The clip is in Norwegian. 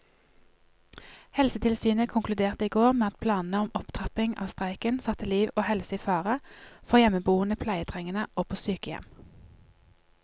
Helsetilsynet konkluderte i går med at planene om opptrapping av streiken satte liv og helse i fare for hjemmeboende pleietrengende og på sykehjem.